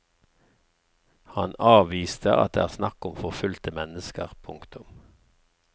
Han avviste at det er snakk om forfulgte mennesker. punktum